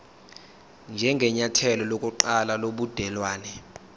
njengenyathelo lokuqala lobudelwane